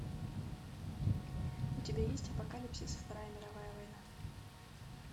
у тебя есть апокалипсис вторая мировая война